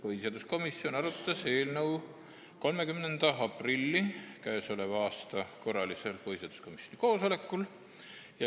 Põhiseaduskomisjon arutas eelnõu 30. aprilli korralisel põhiseaduskomisjoni koosolekul.